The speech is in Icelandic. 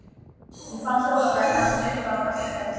Ég fann hjólabrettið hans uppi á gangstétt.